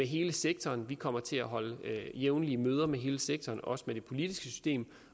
hele sektoren vi kommer til at holde jævnlige møder med hele sektoren og også med det politiske system